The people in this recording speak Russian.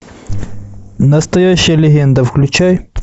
настоящая легенда включай